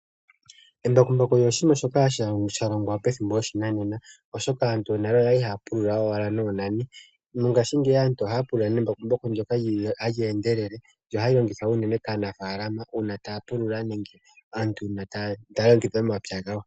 Embakumbaku olya longwa pethimbo lyoshinanena, oshoka nale aantu okwali ashike haya pulula noonani. Mongashingeyi aantu ohaya pulula nembakumbaku ndyoka hali endelele, olyo hali longithwa kanafaalama uuna taya pulula.